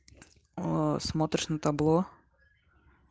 ээ смотришь на табло